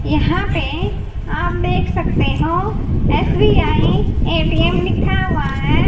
यहां पे आप देख सकते हो एस_बी_आई ए_टी_एम लिखा हुआ हैं।